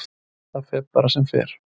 Það fer bara sem fer.